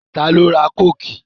Ta ló ra Kóòkì?